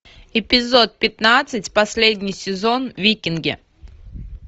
эпизод пятнадцать последний сезон викинги